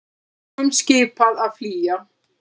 Íbúum skipað að flýja